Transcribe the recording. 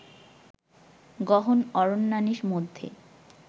গহন অরণ্যানীর মধ্যে